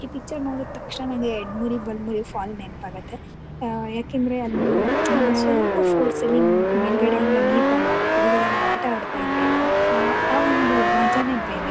ಈ ಪಿಕ್ಚರ್ ನೋಡಿತಾಕ್ಷ್ಣನೇ ನಂಗೆ ಎಳ್ಲಮುರಿ ಬಲಮುರಿ ಫಾಲ್ಸ್ ನೆನಪಾಗುತ್ತೆ. ಅ ಏಕೆಂದ್ರೆ ಅಲ್ಲಿ ಸ್ವಲ್ಪ ಫೋರ್ಸ್ ಅಲ್ಲಿ ಮೇಲ್ಗಡೆಯಿಂದ ನೀರ್ ಬಂದಾಗ ಕೆಳಗಡೆ ನಾವು ಆಟಆಡತಾಯಿದ್ರೆ ಆ ಆ ಒಂದು ಮಜಾನೇ ಬೇರೇ.